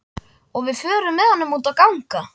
Og við förum með honum út að ganga.